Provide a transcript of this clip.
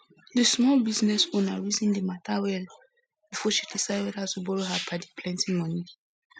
di small business owner reason di matter well before she decide whether to borrow her padi plenty money